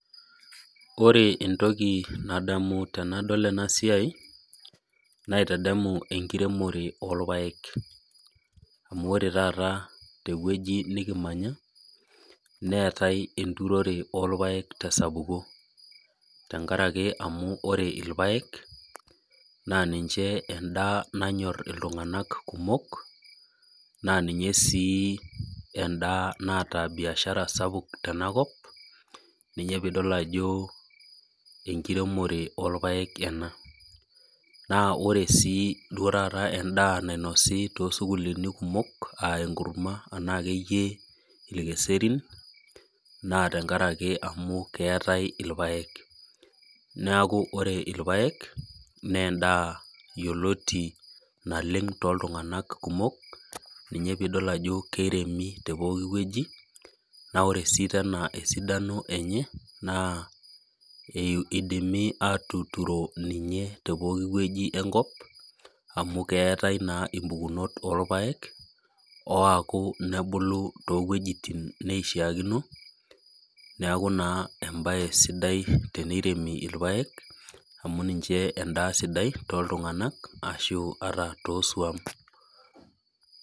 Kore entoki nadamu tenadol ena siai, naitadamu enkiremore oorpayek. Amuu ore taata tewueji nikimanya, neetae enturore orpayek tesapuko. Tengaraki amu ore irpayek naa niche endaa nanyor iltunganaka kumok. Naa ninye sii endaa naata biashara tenakop. Nyinye piidol ajo enkiremore oorpayek ena. Naa ore sii endaa nainosi too sukuulini kumok aa enkurma ana akeyie irkeserin. Naa tenkaraki amu keetae irpayek. Ore irpayek naa ndaa yioloti naleng tooltunganak kumok. Ina piidol ajo keiremi te pooki wueji, naa ore sii tena esidano enye, eidimi aatuturo te pooki wueji enkop. Amu keetae naa impukunot oorpayek. Ooaku nebulu too wuejitin neishiaakino, niaku embae naa embae sidai teneiremi irpayek. Amu niche endaa sidai ata too suam